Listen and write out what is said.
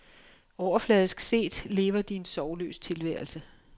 Overfladisk set lever de en sorgløs tilværelse.